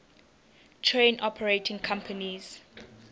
train operating companies